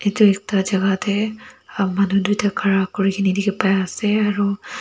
etu ekta jaga teh aa manu duita khara kuri ki ni dikhi pai ase aro--